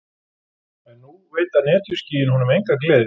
En nú veita netjuskýin honum enga gleði.